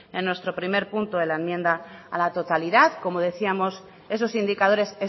en nuestro primer punto de la enmienda a la totalidad como decíamos esos indicadores